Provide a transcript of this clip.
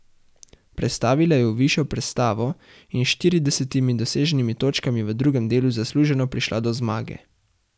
Prestavila je v višjo prestavo in s štiridesetimi doseženimi točkami v drugem delu zasluženo prišla do zmage.